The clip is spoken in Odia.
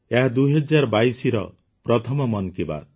ଏହା ୨୦୨୨ର ପ୍ରଥମ ମନ କି ବାତ୍